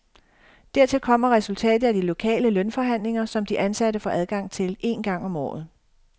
Dertil kommer resultatet af de lokale lønforhandlinger, som de ansatte får adgang til en gang om året.